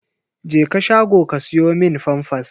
Jeka shago ka siyo min famfas!